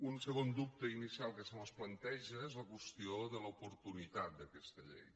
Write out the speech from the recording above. un segon dubte inicial que se mos planteja és la qüestió de l’oportunitat d’aquesta llei